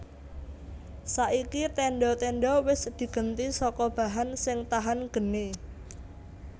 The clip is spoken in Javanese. Saiki tendha tendha wis digenti saka bahan sing tahan geni